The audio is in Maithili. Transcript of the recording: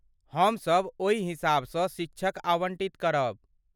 हमसभ ओहि हिसाबसँ शिक्षक आवन्टित करब।